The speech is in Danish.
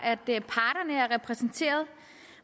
er er repræsenteret